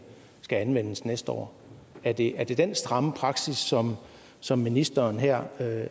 anvendes næste år er det er det den stramme praksis som som ministeren her